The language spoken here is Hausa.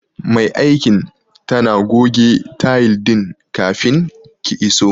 Mai aikin tana goge tayil din kafin ki iso.